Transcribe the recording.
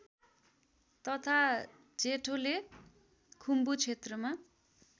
तथा जेठोले खुम्बुक्षेत्रमा